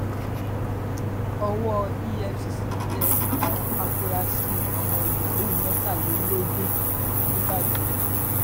owó efcc tẹ àwọn afurasí ọmọ yahoo mẹtàlélógún nìbàdàn